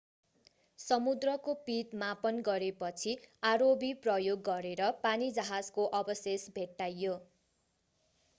समुद्रको पिँध मापन गरेपछि rov प्रयोग गरेर पानीजहाजको अवशेष भेट्टाइयो